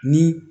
Ni